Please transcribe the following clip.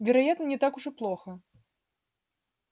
вероятно не так уж и плохо